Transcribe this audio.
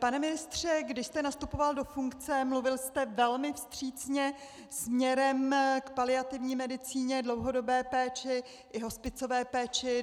Pane ministře, když jste nastupoval do funkce, mluvil jste velmi vstřícně směrem k paliativní medicíně, dlouhodobé péči i hospicové péči.